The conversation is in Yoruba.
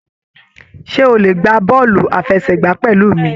Ṣe o le gbá bọọlu àfẹ́sẹ̀gbà pẹlú mí?